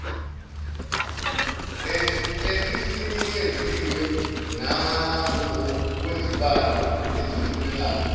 esisinikeziwe nangokwezibalo ezifunekayo